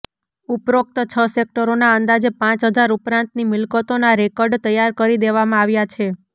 ઉપરોક્ત છ સેક્ટરોના અંદાજે પાંચ હજાર ઉપરાંતની મિલકતોના રેકર્ડ તૈયાર કરી દેવામાં આવ્યા છે